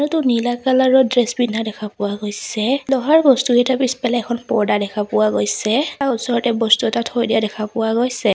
মানুহটো নীলা কালাৰ ৰ ড্ৰেছ পিন্ধা দেখা পোৱা গৈছে লোহাৰ বস্তুকেইটাৰ পিছফালে এখন পৰ্দা দেখা পোৱা গৈছে তাৰ ওচৰতে বস্তু এটা থৈ দিয়া দেখা পোৱা গৈছে।